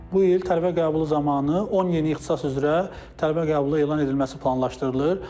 Bu il tələbə qəbulu zamanı 10 yeni ixtisas üzrə tələbə qəbulu elan edilməsi planlaşdırılır.